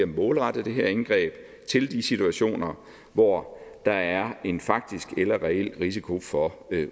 målrette det her indgreb til de situationer hvor der er en faktisk eller reel risiko for